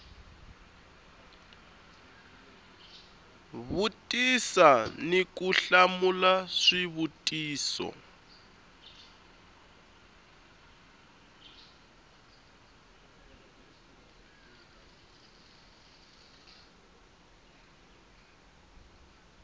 vutisa ni ku hlamula swivutiso